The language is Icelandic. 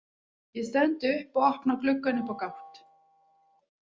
Ég stend upp og opna gluggann upp á gátt.